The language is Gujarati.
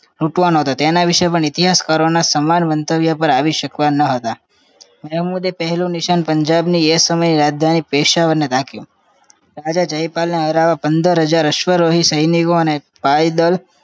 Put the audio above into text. લૂંટવાનો હતો તેના વિશે ઇતિહાસ કરો સમાન મંતવ્ય પર આવી શકે ન હતા તેમના મુદે પહેલું નિશાન પંજાબની રાજધાની પેશાવર ની રાખ્યું રાજા જયપાલ ને હાર્યા પદર હજાર અશ્વરઓ અને સૈનિકોને અને પાઇદલ